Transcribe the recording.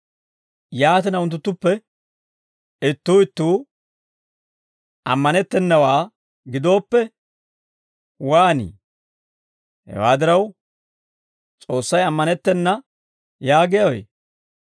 Yaatina unttunttuppe ittuu ittuu ammanettennawaa gidooppe, waanii? Hewaa diraw, S'oossay ammanettena yaagiyaawe?